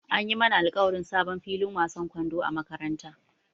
An yi mana alƙawarin sabon filin wasan kwando a makarantara.